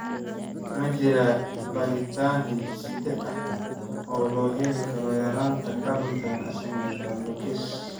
Ma jiraa baadhitaan hidde-side ah oo loo heli karo yaraanta carnitine acylcarnitine translocase?